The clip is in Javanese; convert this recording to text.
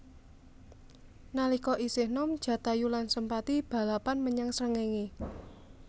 Nalika isih nom Jatayu lan Sempati balapan menyang srengéngé